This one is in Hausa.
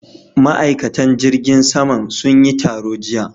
Ma'aikatan jirgin saman sun yi taro jiya.